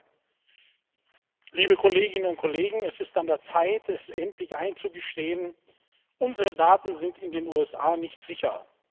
Frau Präsidentin, liebe Kolleginnen und Kollegen! Es ist an der Zeit, es endlich einzugestehen Unsere Daten sind in den USA nicht sicher.